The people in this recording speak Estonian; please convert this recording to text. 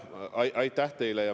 Aitäh teile!